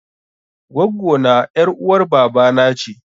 Gwaggo na ƴar uwar baba na ce.